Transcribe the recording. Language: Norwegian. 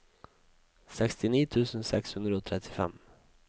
sekstini tusen seks hundre og trettifem